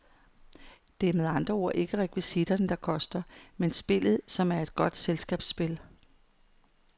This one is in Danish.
Det er med andre ord ikke rekvisitterne, der koster, men spillet, som er et godt selskabsspil.